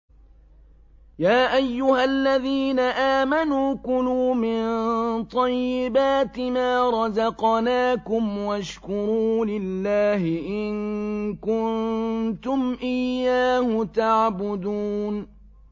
يَا أَيُّهَا الَّذِينَ آمَنُوا كُلُوا مِن طَيِّبَاتِ مَا رَزَقْنَاكُمْ وَاشْكُرُوا لِلَّهِ إِن كُنتُمْ إِيَّاهُ تَعْبُدُونَ